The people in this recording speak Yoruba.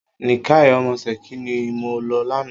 Nìkáì ọmọ Ṣẹ̀kí ni mo lọ lánàá.